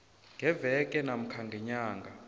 ngeveke namkha ngenyanga